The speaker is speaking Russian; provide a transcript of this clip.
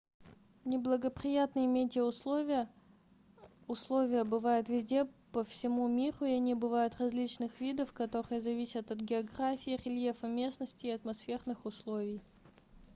неблагоприятные метеоусловия условия бывают везде по всему миру и они бывают различных видов которые зависят от географии рельефа местности и атмосферных условий